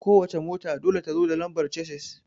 Ko wace mota dole ta zo da lambar casis